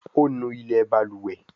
O nú ilé balùwẹ̀.